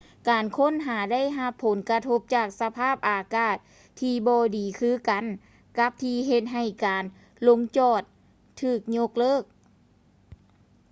ການຄົ້ນຫາໄດ້ຮັບຜົນກະທົບຈາກສະພາບອາກາດທີ່ບໍ່ດີຄືກັນກັບທີ່ເຮັດໃຫ້ການລົງຈອດຖືກຍົກເລີກ